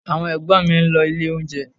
Àwọn Ẹ̀gbọ́n mi ń lọ ilé oúnjẹ